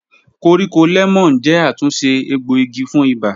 Koríko lẹmọọn jẹ atunṣe egboigi fun iba